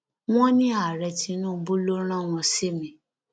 wọn ní ààrẹ tinubu ló rán wọn sí mi